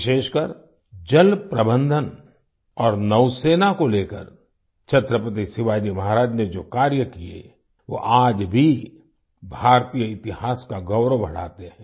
विशेषकर जलप्रबंधन और नौसेना को लेकर छत्रपति शिवाजी महाराज ने जो कार्य किए वो आज भी भारतीय इतिहास का गौरव बढ़ाते हैं